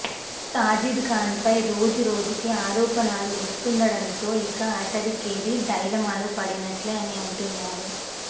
సాజిద్ ఖాన్ పై రోజు రోజుకి ఆరోపణలు వస్తుండటంతో ఇక అతడి కెరీర్ డైలమాలో పడినట్లే అని అంటున్నారు